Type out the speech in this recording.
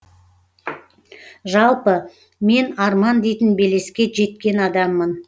жалпы мен арман дейтін белеске жеткен адаммын